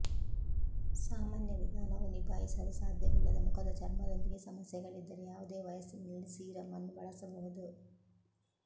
ಸಾಮಾನ್ಯ ವಿಧಾನವು ನಿಭಾಯಿಸಲು ಸಾಧ್ಯವಿಲ್ಲದ ಮುಖದ ಚರ್ಮದೊಂದಿಗೆ ಸಮಸ್ಯೆಗಳಿದ್ದರೆ ಯಾವುದೇ ವಯಸ್ಸಿನಲ್ಲಿ ಸೀರಮ್ ಅನ್ನು ಬಳಸಬಹುದು